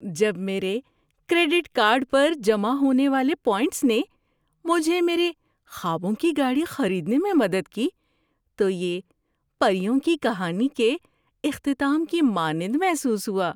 جب میرے credit card پر جمع ہونے والے پوائنٹس نے مجھے میرے خوابوں کی گاڑی خریدنے میں مدد کی تو یہ پریوں کی کہانی کے اختتام کی مانند محسوس ہوا۔